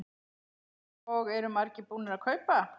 Og eru margir búnir að kaupa?